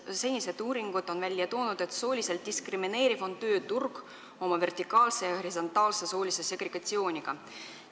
Senised uuringud on välja toonud, et sooliselt diskrimineeriv on tööturg oma vertikaalse ja horisontaalse soolise segregatsiooniga.